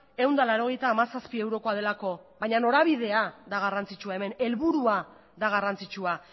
ehun eta laurogeita hamazazpi eurokoa delako baina norabidea da garrantzitsua hemen helburua da garrantzitsua